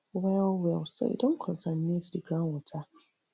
well well so e don contaminate di groundwater